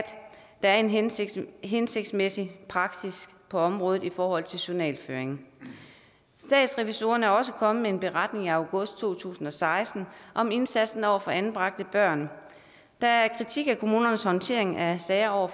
der er en hensigtsmæssig hensigtsmæssig praksis på området i forhold til journalføring statsrevisorerne er også kommet med en beretning i august to tusind og seksten om indsatsen over for anbragte børn der er kritik af kommunernes håndtering af sager